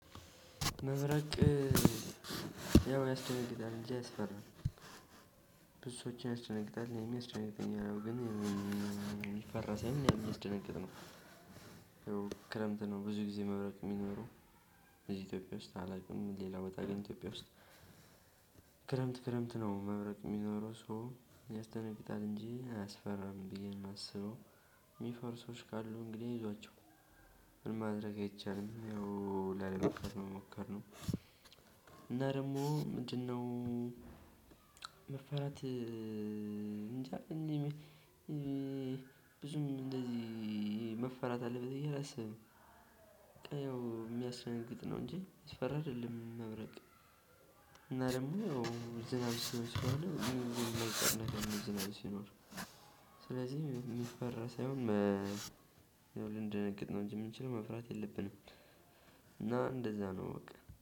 መብረቅ ያው ያስደነግጣል እንጂ አያስፈራም። ብዞችን ያስደነግጣል የሚያስጨንቀኝ ነው ግን የሚፈራ ሳይሆን የሚያስደንግጥ ነው። ይሄው ክረምት ነው ብዙ ጊዜ መብረቅ የሚኖረው። እዚህ ኢትዮጵያ ውስጥ አላውቅም ሌላ በጣም ግን ኢትዮጵያ ውስጥ። ክረምት ክረምት ነው መብረቅ የሚኖረው ሰው ያስደግጣል እንጂ አያስፈራም ብዬ የማስበው። የሚፈሩ ሰዎች ካሉ እንግዲህ አይዟቸው። ምንም ማድረግ አይቻልም ይኸው ላለመፍራት መሞከር ነው። እና ደግሞ ምንድነው? መፈራት እንጃ። ብዙም እንደዚህ መፈራት አለበት ብዬ አላስብህም። የሚያስደነግጥ ነው እንጂ የሚያስፈራ አይደለም። መብረቅ እና ደግሞ ያው ዝናብ ሲኖር። ሲኖር ዝናብ ሲኖር። ስለዚህ የሚፈራ ሳይሆን ያው ልንደነግጥ ነው እንጂ የምንችለው መፍራት የለብንም። እና እንደዛ ነው በቃ